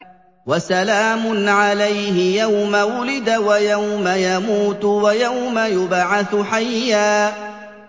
وَسَلَامٌ عَلَيْهِ يَوْمَ وُلِدَ وَيَوْمَ يَمُوتُ وَيَوْمَ يُبْعَثُ حَيًّا